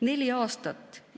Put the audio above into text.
Neli aastat!